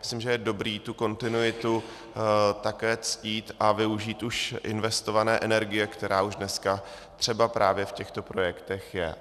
Myslím, že je dobré tu kontinuitu také ctít a využít už investované energie, která už dneska třeba právě v těchto projektech je.